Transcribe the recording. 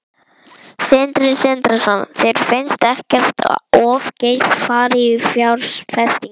Sindri Sindrason: Þér finnst ekkert of geyst farið í fjárfestingar?